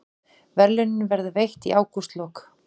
Verðlaunin verða veitt í ágústlok